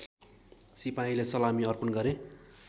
सिपाहीले सलामी अर्पण गरे